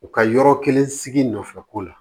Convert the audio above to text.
U ka yɔrɔ kelen sigi nɔfɛ ko la